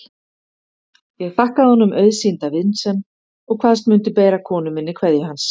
Ég þakkaði honum auðsýnda vinsemd og kvaðst mundu bera konu minni kveðju hans.